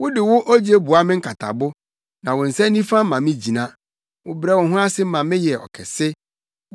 Wode wo ogye boa me nkatabo, na wo nsa nifa ma me gyina. Wobrɛ wo ho ase ma meyɛ ɔkɛse.